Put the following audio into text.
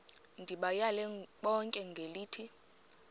ndibayale bonke ngelithi